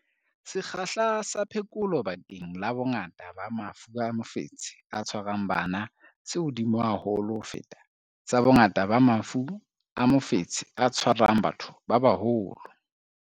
Sekgahla sa phekolo bakeng la bongata ba mafu a mofetshe o tshwarang bana se hodimo haholo ho feta sa bongata ba mafu a mofetshe o tshwarang batho ba baholo.